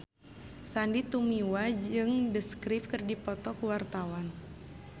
Sandy Tumiwa jeung The Script keur dipoto ku wartawan